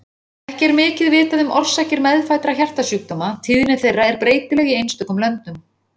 Ekki er mikið vitað um orsakir meðfæddra hjartasjúkdóma: tíðni þeirra er breytileg í einstökum löndum.